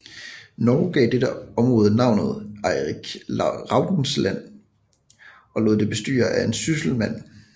Norge gav dette område navnet Eirik Raudes Land og lod det bestyre af en sysselmand